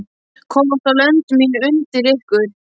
Komast þá lönd mín undir ykkur?